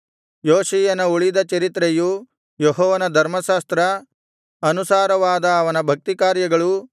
ಯೋಷೀಯನ ಉಳಿದ ಚರಿತ್ರೆಯೂ ಯೆಹೋವನ ಧರ್ಮಶಾಸ್ತ್ರ ಅನುಸಾರವಾದ ಅವನ ಭಕ್ತಿಕಾರ್ಯಗಳೂ